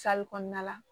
kɔnɔna la